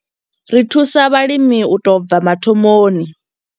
Ri thusa vhalimi u tou bva mathomoni.